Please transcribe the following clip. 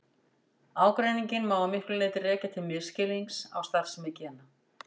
Ágreininginn má að miklu leyti rekja til misskilnings á starfsemi gena.